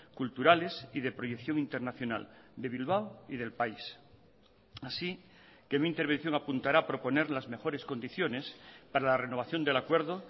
culturales y de proyeccióninternacional de bilbao y del país así que mi intervención apuntará a proponer las mejores condiciones para la renovación del acuerdo